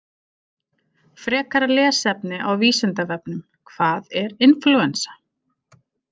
Frekara lesefni á Vísindavefnum: Hvað er inflúensa?